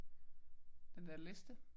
Den der liste